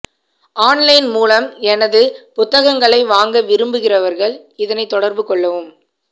online மூலம் எனது புத்தகங்களை வாங்க விரும்புகிறவர்கள் இதனைத் தொடர்பு கொள்ளவும்